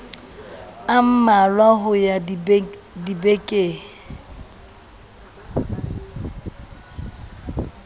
a mmalwa ho ya dibekeng